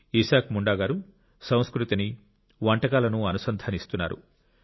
ఇసాక్ ముండా గారు సంస్కృతిని వంటకాలను అనుసంధానిస్తున్నారు